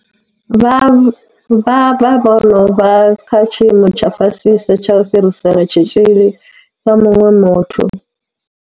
Vha vha vho no vha kha tshiimo tsha fhasisa tsha u fhirisela tshitzhili kha muṅwe muthu.